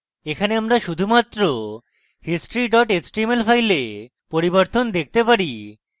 এখানে আমরা শুধুমাত্র history html file পরিবর্তন দেখতে পারি